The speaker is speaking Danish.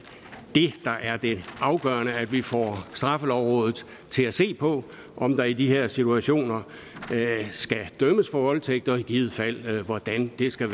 er det afgørende at vi får straffelovrådet til at se på om der i de her situationer skal dømmes for voldtægt og i givet fald hvordan det skal